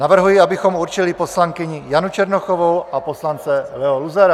Navrhuji, abychom určili poslankyni Janu Černochovou a poslance Leo Luzara.